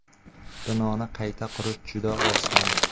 Binoni qayta qurish juda oson!